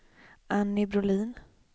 Anny Brolin